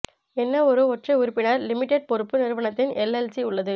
என்ன ஒரு ஒற்றை உறுப்பினர் லிமிடெட் பொறுப்பு நிறுவனத்தின் எல்எல்சி உள்ளது